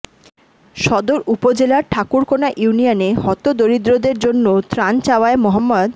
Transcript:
সদর উপজেলার ঠাকুরাকোনা ইউনিয়নে হতদরিদ্রদের জন্য ত্রাণ চাওয়ায় মো